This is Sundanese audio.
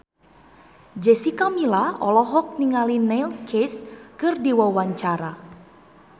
Jessica Milla olohok ningali Neil Casey keur diwawancara